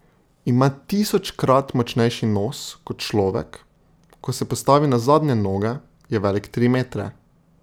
Ima tisočkrat močnejši nos kot človek, ko se postavi na zadnje noge, je velik tri metre.